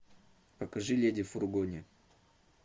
покажи леди в фургоне